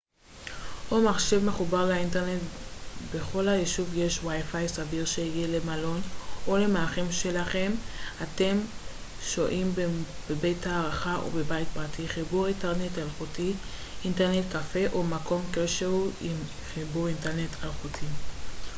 סביר שיהיה למלון או למארחים שלכם אם אתם שוהים בבית הארחה או בבית פרטי חיבור אינטרנט אלחוטי wifi או מחשב מחובר לאינטרנט ובכל היישובים יש אינטרנט קפה או מקום כלשהוא עם חיבור אינטרנט אלחוטי